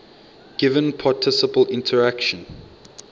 given particle interaction